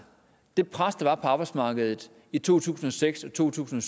det pres der var på arbejdsmarkedet i to tusind og seks og to tusind